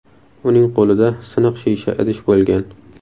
Uning qo‘lida siniq shisha idish bo‘lgan.